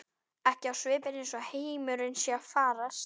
Ekki á svipinn eins og heimurinn sé að farast.